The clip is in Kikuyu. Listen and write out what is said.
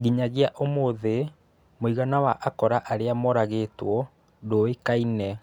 Nginyagia ũmũthĩ, mũigana wa akora arĩa moragĩtwo ndũĩkaine.